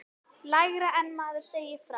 Lægra en maður segir frá.